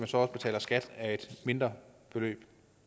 så også betaler skat af et mindre beløb